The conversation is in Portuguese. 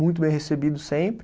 Muito bem recebido sempre.